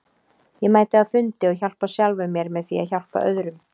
Ég mæti á fundi og hjálpa sjálfum mér með því að hjálpa öðrum.